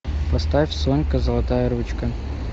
поставь сонька золотая ручка